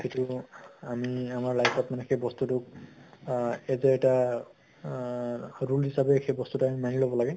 আমি আমাৰ life ত মানে সেই বস্তু তো আ এইটো এটা আ rule হিচাপে সেই বস্তু তো মানি লʼব লাগে ।